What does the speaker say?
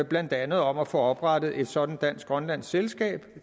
blandt andet om at få oprettet et sådant dansk grønlandsk selskab